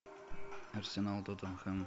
арсенал тоттенхэм